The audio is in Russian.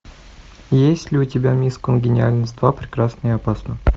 есть ли у тебя мисс конгениальность два прекрасна и опасна